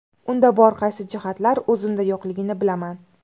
Unda bor qaysi jihatlar o‘zimda yo‘qligini bilaman.